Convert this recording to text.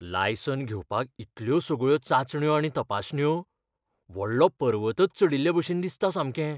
License घेवपाक इतल्यो सगळ्यो चांचण्यो आनी तपासण्यो? व्हडलो पर्वतच चडिल्लेभशेन दिसता सामकें.